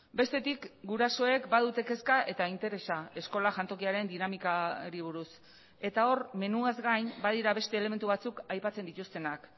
bestetik gurasoek badute kezka eta interesa eskola jantokiaren dinamikari buruz eta hor menuaz gain badira beste elementu batzuk aipatzen dituztenak